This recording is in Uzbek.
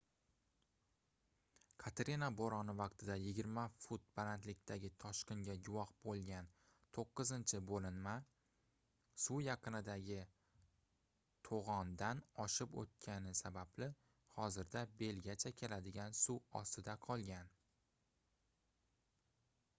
katrina boʻroni vaqtida 20 fut balandlikdagi toshqinga guvoh boʻlgan toʻqqizinchi boʻlinma suv yaqindagi toʻgʻondan oshib oʻtgani sababli hozirda belgacha keladigan suv ostida qolgan